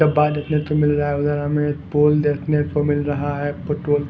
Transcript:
डब्बा देखने तो मिल रहा है। उधर हमें पोल देखने को मिल रहा है। पेट्रोल --